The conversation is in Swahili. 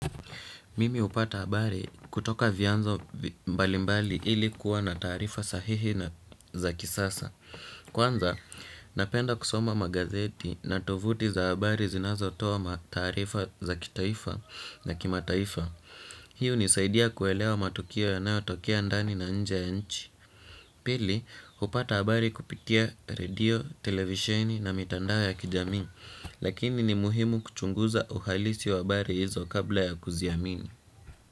Mimi hupata habari kutoka vianzo mbalimbali, ilikuwa na taarifa sahihi na za kisasa. Kwanza, napenda kusoma magazeti na tovuti za habari zinazotoa taarifa za kitaifa na kimataifa. Hii hunisaidia kuelewa matukio yanayotokea ndani na nje ya nchi. Pili, hupata habari kupitia redio, televisheni na mitandao ya kijamii. Lakini ni muhimu kuchunguza uhalisi wa habari hizo kabla ya kuziamini.